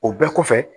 O bɛɛ kɔfɛ